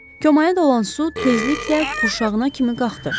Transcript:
Komalarda olan su tezliklə qurşağına kimi qalxdı.